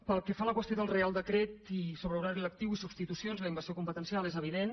pel que fa a la qüestió del reial decret i sobre horari lectiu i substitucions la invasió competencial és evident